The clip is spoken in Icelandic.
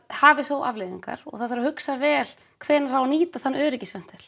hafi þó afleiðingar það þarf að hugsa vel hvenær eigi að nýta þennan öryggisventil